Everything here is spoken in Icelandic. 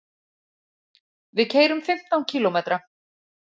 Við keyrum fimmtán kílómetra.